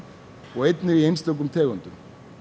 og í einstökum tegundum